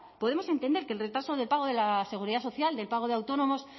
podemos entender que el retraso del pago de la seguridad social del pago de autónomos